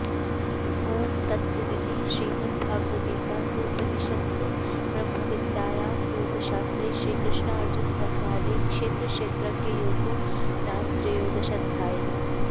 ॐ तत्सदिति श्रीमद्भगवद्गीतासूपनिषत्सु ब्रह्मविद्यायां योगशास्त्रे श्रीकृष्नार्जुनसंवादे क्षेत्रक्षेत्रज्ञयोगो नाम त्रयोदशोऽध्यायः